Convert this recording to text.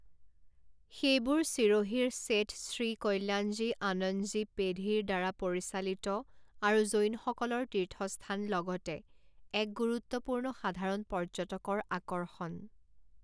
সেইবোৰ ছিৰোহিৰ শেঠ শ্ৰী কল্যাণজী আনন্দজী পেধিৰ দ্বাৰা পৰিচালিত আৰু জৈনসকলৰ তীৰ্থস্থান লগতে এক গুৰুত্বপূৰ্ণ সাধাৰণ পৰ্যটকৰ আকৰ্ষণ।